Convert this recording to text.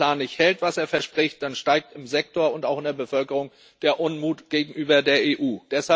Und wenn der Plan nicht hält, was er verspricht, dann steigt im Sektor und auch in der Bevölkerung der Unmut gegenüber der EU.